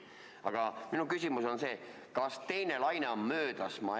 Aga minu küsimus on see: kas teine laine on möödas?